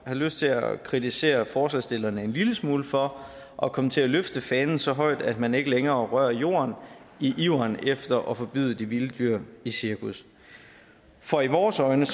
lyst til at kritisere forslagsstillerne en lille smule for at komme til løfte fanen så højt at man ikke længere rører jorden i iveren efter at forbyde de vilde dyr i cirkus for i vores øjne